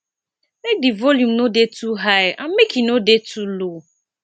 make di volume no dey too high and make e no dey too low